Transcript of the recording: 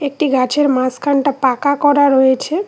একটি গাছের মাঝখানটা পাকা করা রয়েছে।